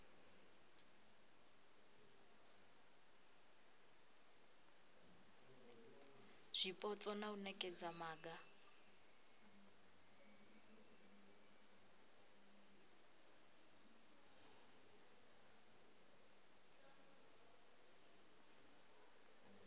zwipotso na u nekedza maga